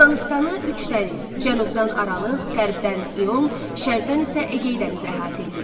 Yunanıstanı üç dəniz, Cənubdan Aralıq, Qərbdən İon, Şərqdən isə Egey dənizi əhatə eləyir.